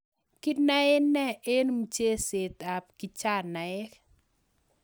Kinae nee eng mcheset ap kijanaek.